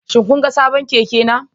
Shin kun ga sabon keke na?